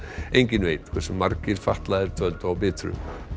enginn veit hversu margir fatlaðir dvöldu á Bitru